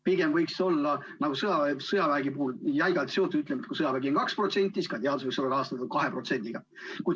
Pigem võiks see olla nagu sõjaväe puhul jäigalt seotud: kui sõjaväele on 2%, siis ka teadus võiks olla rahastatud 2%‑ga.